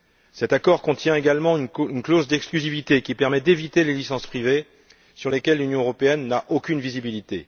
Cet accord contient également une clause d'exclusivité, qui permet d'éviter les licences privées sur lesquelles l'Union européenne n'a aucune visibilité.